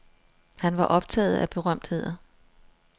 Han var optaget af berømtheder.